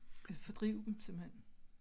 Altså fordrive dem simpelthen